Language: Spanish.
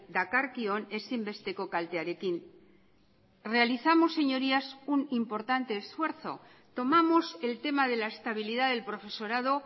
dakarkion ezinbesteko kaltearekin realizamos señorías un importante esfuerzo tomamos el tema de la estabilidad del profesorado